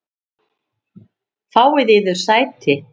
Fáið yður sæti.